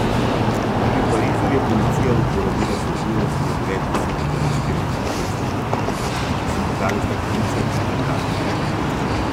Tudi v Parizu je policija uporabila solzivec proti več deset zamaskiranim protestnikom, ki so metali steklenice in petarde.